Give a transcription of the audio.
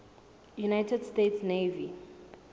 united states navy